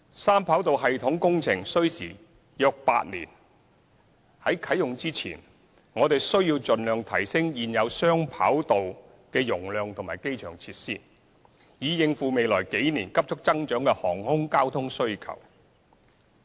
三跑道系統工程需時約8年，在三跑道系統啟用前，我們需要盡量提升現有雙跑道的容量及機場設施，以應付未來幾年急速增長的航空交通需求。